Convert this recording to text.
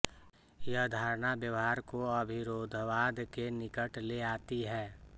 यह धारणा व्यवहार को अविरोधवाद के निकट ले आती है